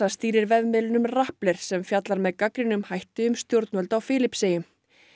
stýrir vefmiðlunum sem fjallar með gagnrýnum hætti um stjórnvöld á Filippseyjum